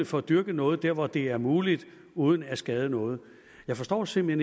for at dyrke noget dér hvor det er muligt uden at skade noget jeg forstår simpelt